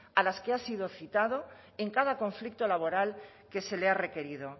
a las que ha sido citado en cada conflicto laboral que se le ha requerido